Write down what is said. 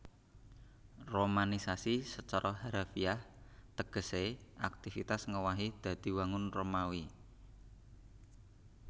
Romanisasi sacara harafiah tegesé aktivitas ngowahi dadi wangun Romawi